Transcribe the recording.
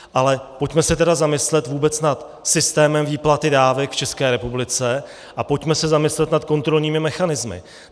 Ale pojďme se tedy zamyslet vůbec nad systémem výplaty dávek v České republice a pojďme se zamyslet nad kontrolními mechanismy.